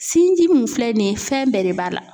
Sinji mun filɛ nin ye fɛn bɛɛ de b'a la.